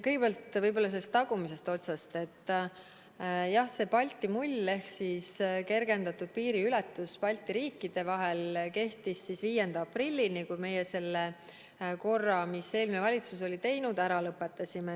Kõigepealt, alustan tagumisest otsast, jah, see Balti mull ehk kergendatud piiriületus Balti riikide vahel kehtis 5. aprillini, kui meie selle korra, mis eelmine valitsus oli kehtestanud, ära lõpetasime.